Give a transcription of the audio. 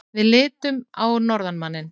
Við litum á norðanmanninn.